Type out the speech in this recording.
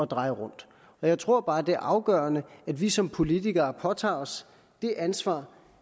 dreje rundt jeg tror bare det er afgørende at vi som politikere påtager os det ansvar